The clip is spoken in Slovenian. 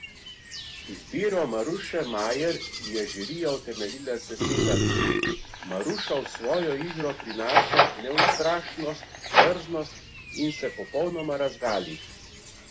Izbiro Maruše Majer je žirija utemeljila z besedami: "Maruša v svojo igro prinaša neustrašnost, drznost in se popolnoma razgali.